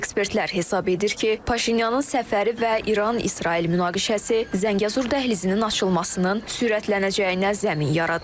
Ekspertlər hesab edir ki, Paşinyanın səfəri və İran-İsrail münaqişəsi Zəngəzur dəhlizinin açılmasının sürətlənəcəyinə zəmin yaradır.